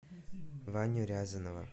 ваню рязанова